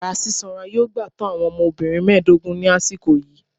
Yara sisanra yoo gba to awọn ọmọbirin mẹdogun ni asiko yii